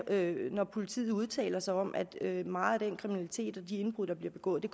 hører når politiet udtaler sig om at meget af den kriminalitet mange af de indbrud der bliver begået